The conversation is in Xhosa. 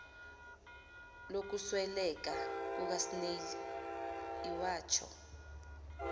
lokusweleka kukasnail iwatsho